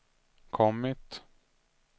kommit